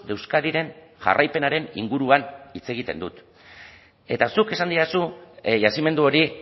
euskadiren jarraipenaren inguruan hitz egiten dut eta zuk esan didazu yazimendu hori